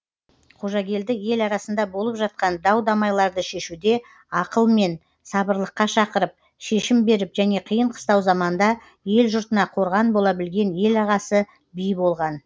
қожагелді ел арасында болып жатқан дау дамайларды шешуде ақылымен сабырлыққа шақырып шешім беріп және қиын қыстау заманда ел жұртына қорған бола білген ел ағасы би болған